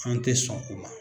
An tɛ sɔn o ma.